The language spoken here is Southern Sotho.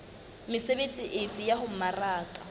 mesebetsi efe ya ho mmaraka